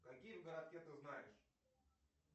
какие в городке ты знаешь